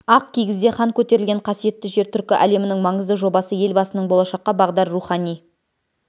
ақ кигізде хан көтерілген қасиетті жер түркі әлемінің маңызды жобасы елбасының болашаққа бағдар руіани